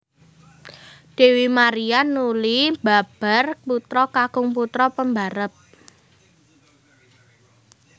Dèwi Maria nuli mbabar putra kakung putra pembarep